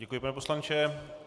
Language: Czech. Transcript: Děkuji, pane poslanče.